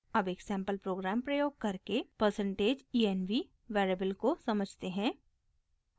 अब एक sample program प्रयोग करके %env वेरिएबल को समझते हैं